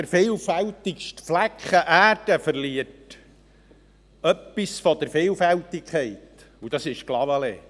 Der vielfältigste Flecken Erde verliert etwas von der Vielfältigkeit, und das ist Clavaleyres.